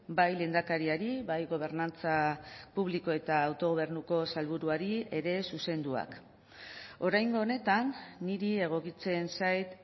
bai lehendakariari bai gobernantza publiko eta autogobernuko sailburuari ere zuzenduak oraingo honetan niri egokitzen zait